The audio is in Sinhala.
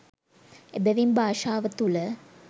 එබැවින් භාෂාව තුළ